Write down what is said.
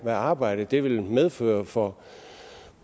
arbejde det vil medføre for